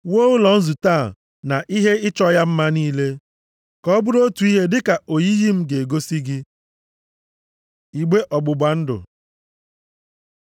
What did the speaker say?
Wuo ụlọ nzute a na ihe ịchọ ya mma niile, ka ọ bụrụ otu ihe dịka oyiyi m ga-egosi gị. Igbe ọgbụgba ndụ